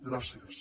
gràcies